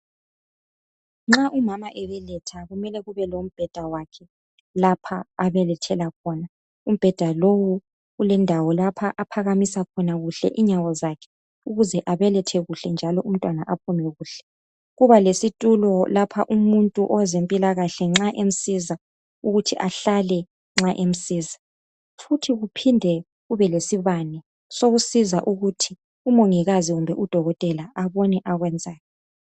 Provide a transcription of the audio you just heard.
Nxa umama ebeletha kumele kube lombheda wakhe lapho abelethela khona, umbheda lowu ulendawo lapho aphakamisa khona kuhle inyawo zakhe ukuze abelethe kuhle njalo umntwana aphume kuhle. Kuba lesitulo nxa umuntu weze mpilakahle ahlale nxa emsiza futhi kuphinde kube lesibane sokusiza ukuthi umongikazi loba udokotela abone okwenzayo.